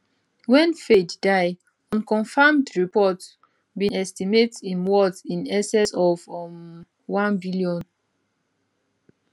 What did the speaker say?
wen fayed die unconfirmed reports bin estimate im worth in excess of um 1bn